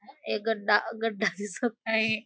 एक गड्डा गड्डा दिसत आहे.